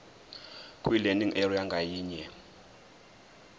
kwilearning area ngayinye